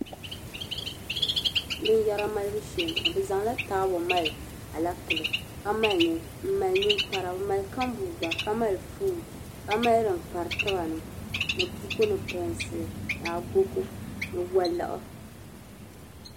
Binyara malibu shee bi zaŋla taabo m mali alɛpeli m mali ninkpara o mali kambuu gba ka mali pon ka mali dinkpari tibani ni buku ni pɛɛnsili ni agogo ni waliɣu.